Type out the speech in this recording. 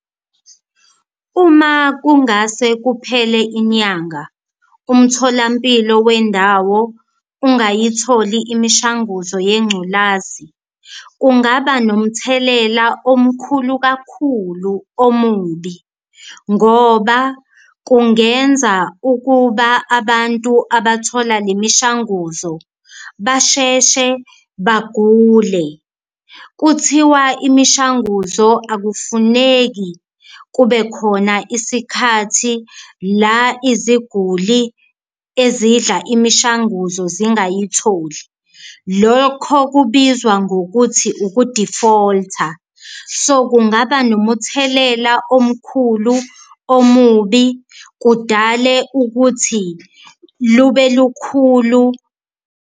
Uma kungase kuphele inyanga umtholampilo wendawo ungayitholi imishanguzo yengculazi, kungaba nomthelela omkhulu kakhulu omubi ngoba kungenza ukuba abantu abathola le mishanguzo basheshe bagule. Kuthiwa imishanguzo akufuneki kube khona isikhathi la iziguli ezidla imishanguzo zingayitholi, lokho kubizwa ngokuthi ukuthi uku-defaulter kungaba nomuthelela omkhulu omubi kudale ukuthi lube lukhulu.